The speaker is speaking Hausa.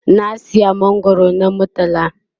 na saya mangwaro na murtala